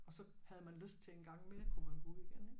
Og så havde man lyst til en gang mere kunne man gå ud igen ik